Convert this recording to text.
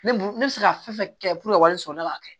Ne b'u ne bɛ se ka fɛn fɛn kɛ ka wari sɔrɔ ne b'a kɛ